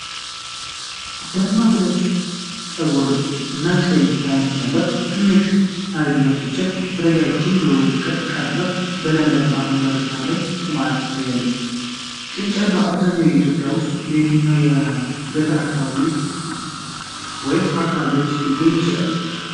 ደማቅ ነጭ ፀጉር እና ቀይ አይኖች ያላት ትንሽ አልቢኖ ጥንቸል፣ ረዣዥም ጆሮዎቿን ቀጥ አድርጋ በለምለም አረንጓዴ ሳር ላይ ቆማ ትታያለች። ጥንቸል በአብዛኛው በኢትዮጵያ ውስጥ በየትኞቹ የገጠር አካባቢዎች ወይም አከባቢዎች ሊገኝ ይችላል?